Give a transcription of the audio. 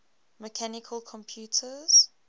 mechanical computers